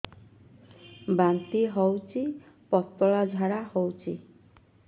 ବାନ୍ତି ହଉଚି ପତଳା ଝାଡା ହଉଚି